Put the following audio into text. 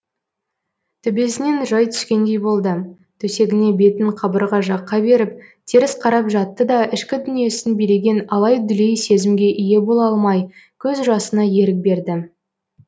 төбесінен жай түскендей болды төсегіне бетін қабырға жаққа беріп теріс қарап жатты да ішкі дүниесін билеген алай дүлей сезімге ие бола алмай көз жасына ерік берді